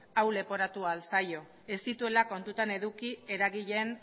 hau leporatu ahal zaio ez zituela kontutan eduki eragileen